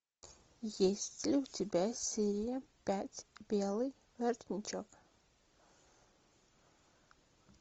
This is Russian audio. есть ли у тебя серия пять белый воротничок